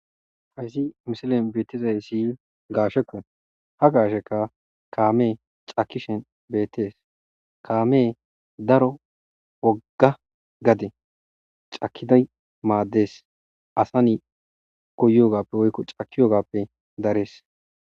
Hayssi misilen beetizay siy gaashekkon ha gaasheka kaamee cakishen beettees kaame daro wogga gade cakiday maaddees asa ni goyogappe woykko cakiyogappe darees